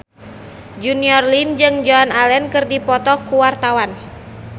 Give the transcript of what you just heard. Junior Liem jeung Joan Allen keur dipoto ku wartawan